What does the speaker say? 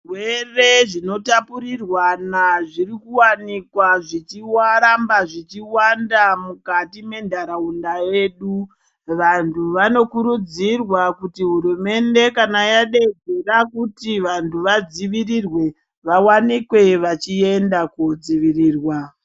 Zvirwere zvinotapurirwana zvichiwanikwa zvicharamba mukati menyika yedu vantu vanokurudzirwa kuti hurumende yedu Kuda kuti vabtu vafzivirirwe vaonekwe vachienda kudzivirirwa.